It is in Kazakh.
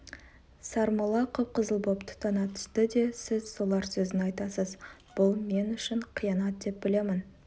сармолла қып-қызыл боп тұтана түсті де сіз солар сөзін айтасыз бұл мен үшін қиянат деп білемін